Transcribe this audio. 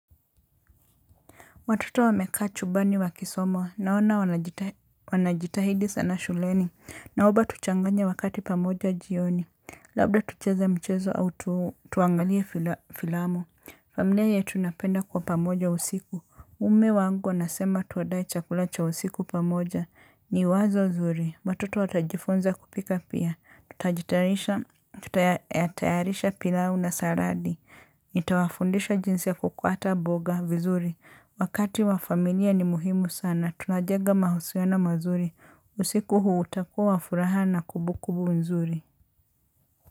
Watoto wamekaa chumbani wakisoma naona wanajitahidi sana shuleni naoba tuchanganye wakati pamoja jioni. Labda tucheze mchezo au tu tuangalie fila filamu. Familia yetu napenda kwa pamoja usiku. Mme wangu anasema tuadae chakula cha usiku pamoja. Ni wazo nzuri. Watoto watajifunza kupika pia. Tutajitayarisha tutayarisha pilau na saladi. Nita wafundisha jinsi ya kukuata mboga vizuri. Wakati wa familia ni muhimu sana. Tunajega mahusiano mazuri. Usiku huu utakuwa wa furaha na kumbu kumbu nzuri.